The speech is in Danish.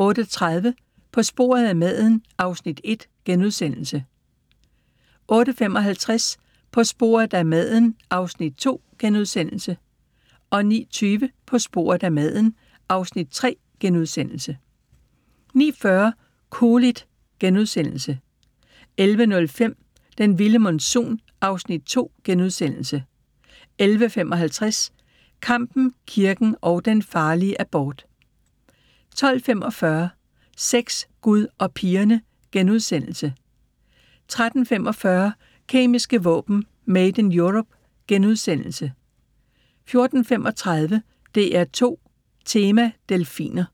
08:30: På sporet af maden (Afs. 1)* 08:55: På sporet af maden (Afs. 2)* 09:20: På sporet af maden (Afs. 3)* 09:40: Cool it * 11:05: Den vilde monsun (Afs. 2)* 11:55: Kampen, kirken og den farlige abort 12:45: Sex, Gud og pigerne * 13:45: Kemiske våben: Made in Europe * 14:35: DR2 Tema: Delfiner